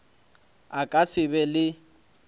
a ka se be le